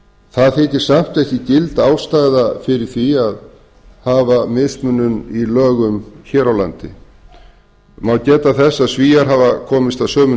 það þykir samt ekki gild ástæða fyrir því að hafa mismunun í lögum hér á landi má geta þess að svíar hafa komist að sömu